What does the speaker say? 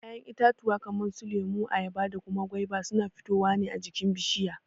Ya'yan itatuwa kaman su lemo, ayaba da kuma gwaiba suna fitowa ne a jikin bishiya.